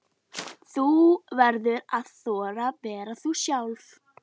Fer greinin því hér á eftir.